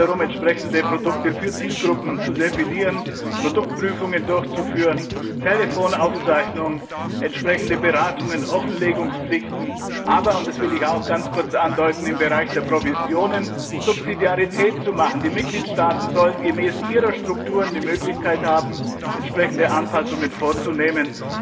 Es geht darum, entsprechende Produkte für Zielgruppen zu definieren, Produktprüfungen durchzuführen, Telefonaufzeichnungen, entsprechende Beratungen, Offenlegungspflichten, aber das will ich auch kurz andeuten im Bereich der Provisionen nach dem Grundsatz der Subsidiarität zu verfahren. Die Mitgliedstaaten sollen gemäß ihren Strukturen die Möglichkeit haben, entsprechende Anpassungen vorzunehmen.